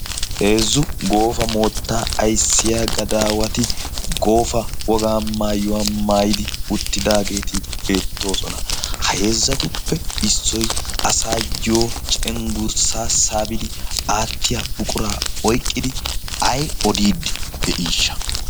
heezzu goofa moottaa aissiya gadaawati goofa wogaa maayuwaa maayidi uttidaageeti beettoosona. haheezzatuppe issoi asayyyo cenggurssa saabidi aattiya buquraa oiqqidi ai odiiddi de7iishsha?